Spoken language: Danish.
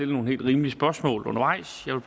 nogle helt rimelige spørgsmål undervejs